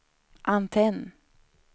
antenn